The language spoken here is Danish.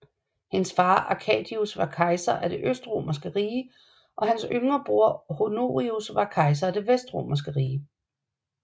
Hendes far Arcadius var kejser af det Østromerske rige og hans yngre bror Honorius var kejser af det Vestromerske rige